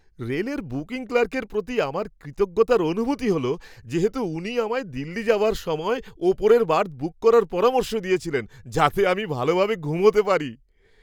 রেলের বুকিং ক্লার্কের প্রতি আমার কৃতজ্ঞতার অনুভূতি হল যেহেতু উনি আমায় দিল্লি যাওয়ার সময় ওপরের বার্থ বুক করার পরামর্শ দিয়েছিলেন যাতে আমি ভালোভাবে ঘুমোতে পারি।